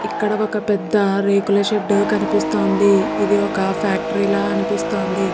ఇక్కడ ఒక పెద్ద రేకుల షెడ్ కనిపిస్తోంది. ఇది ఒక ఫ్యాక్టరీ లా అనిపిస్తుంది.